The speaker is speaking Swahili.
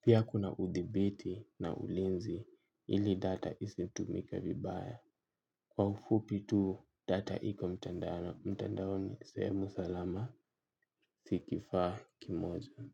Pia kuna uthibiti na ulinzi ili data isitumike vibaya. Kwa ufupi tu data iko mtandaoni. Mtandaoni, sehemu salama, si kifaa kimoja.